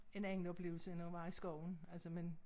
En anden oplevelse end at være i skoven altså men